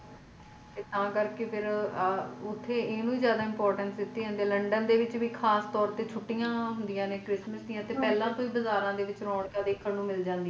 ਤਾ ਕਰਕੇ ਓਥੇ ਇਹਨੂੰ ਜ਼ਿਆਦਾ importance ਦਿਤੀ ਜਾਂਦੀ ਆ ਲੰਡਨ ਦੇ ਵਿੱਚ ਵੀ ਖਾਸ ਤੋਰ ਤੇ ਛੁੱਟੀਆਂ ਹੁੰਦੀਆਂ ਨੇ christmas ਦੀਆਂ ਤੇ ਪਹਿਲਾਂ'ਟੋਹ ਹੀ ਬਾਜ਼ਾਰਾਂ ਦੇ ਵਿੱਚ ਰੌਣਕ ਦੇਖਣ ਨੂੰ ਮਿਲ ਜਾਂਦੀਆਂ ਹੰਜੀ ਹੰਜੀ ਤੇ ਬਹੁਤ ਸਾਰੇ ਨੇ ਜੋ ਆਪਣੀ।